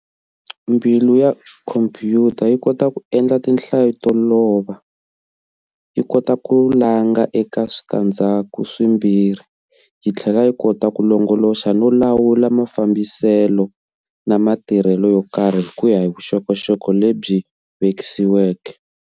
Mbilu ya khompuyuta yi kota ku endla tinhlayo to lova, yikota ku langa eka switandzaku swimbirhi, yithlela yi kota ku longoloxa no lawula mafambisele na matirhele yo karhi hikuya hi vuxokoxoko lebyi vekisiweke.